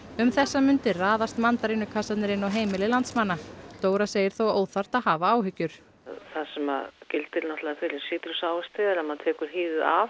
um þessar mundir raðast mandarínukassarnir inn á heimili landsmanna Dóra segir þó óþarft að hafa áhyggjur það sem að gildir náttúrulega fyrir sítrusávexti er að maður tekur hýðið af